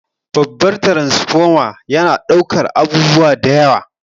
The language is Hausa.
Babbar taransifoma yana daukar abubuwa da yawa.